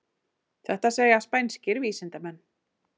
Þetta segja spænskir vísindamenn